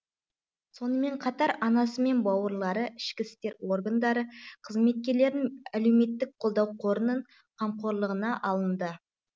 сонымен қатар анасы мен бауырлары ішкі істер органдары қызметкерлерін әлеуметтік қолдау қорының қамқорлығына алынды